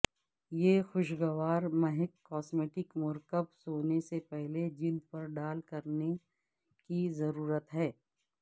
یہ خوشگوار مہک کاسمیٹک مرکب سونے سے پہلے جلد پر ڈال کرنے کی ضرورت ہے